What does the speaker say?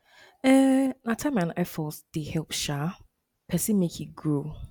um na time and effort dey help um pesin make e grow